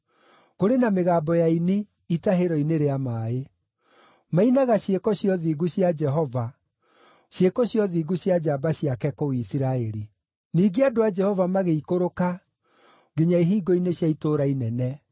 kũrĩ na mĩgambo ya aini itahĩro-inĩ rĩa maaĩ. Mainaga ciĩko cia ũthingu cia Jehova, ciĩko cia ũthingu cia njamba ciake kũu Isiraeli. “Ningĩ andũ a Jehova magĩikũrũka nginya ihingo-inĩ cia itũũra inene.